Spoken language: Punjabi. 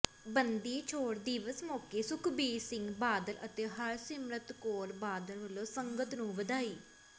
ਬੰਦੀ ਛੋੜ ਦਿਵਸ ਮੌਕੇ ਸੁਖਬੀਰ ਸਿੰਘ ਬਾਦਲ ਅਤੇ ਹਰਸਿਮਰਤ ਕੌਰ ਬਾਦਲ ਵੱਲੋਂ ਸੰਗਤ ਨੂੰ ਵਧਾਈ